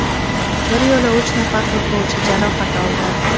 Bir yo‘la uch nafar futbolchi jarohat oldi.